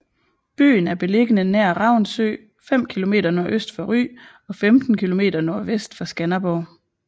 Byen er beliggende nær Ravnsø 5 km nordøst for Ry og 15 km nordvest for Skanderborg